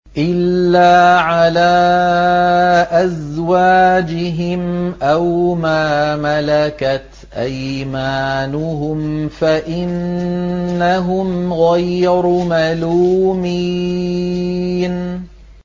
إِلَّا عَلَىٰ أَزْوَاجِهِمْ أَوْ مَا مَلَكَتْ أَيْمَانُهُمْ فَإِنَّهُمْ غَيْرُ مَلُومِينَ